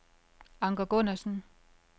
Anker Gundersen